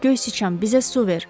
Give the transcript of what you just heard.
Göy sıçan, bizə su ver!